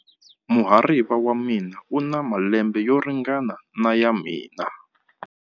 Muhariva wa mina u na malembe yo ringana na ya mina.